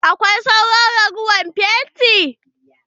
Akwai sauran ragowar fenti?